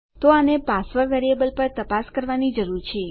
તો આને password variable પર તપાસ કરવાની જરૂર છે